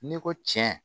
N'i ko tiɲɛ